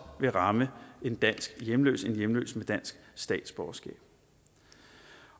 ville ramme en dansk hjemløs en hjemløs med dansk statsborgerskab